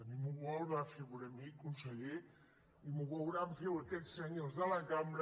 ni m’ho veurà fer a mi con·seller ni ho veuran fer a aquests senyors de la cam·bra